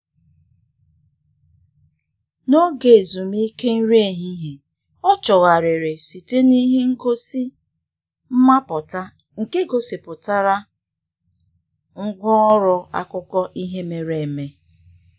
N'oge ezumike nri ehihie, ọ chọgharịrị site na ihe ngosi mmapụta nke gosipụtara ngwa ọrụ akụkọ ihe mere eme.